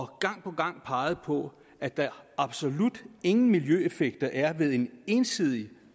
gang på gang peget på at der absolut ingen miljøeffekter er ved en ensidig